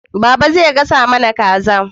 Baba zai gasa mana kaza